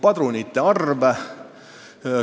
Padrunite arv.